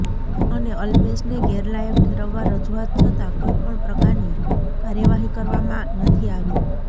અને અલ્પેશને ગેરલાયક ઠેરવવા રજૂઆત છતાં કોઇ પણ પ્રકારની કાર્યવાહી કરવામાં નથી આવી